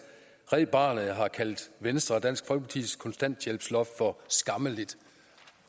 red barnet har kaldt venstre og dansk folkepartis kontanthjælpsloft for skammeligt